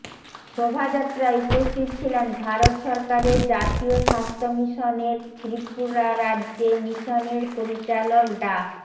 শোভাযাত্রায় উপস্থিত ছিলেন ভারত সরকারের জাতীয় স্বাস্থ্য মিশনের ত্রিপুরা রাজ্যে মিশনের পরিচালক ডা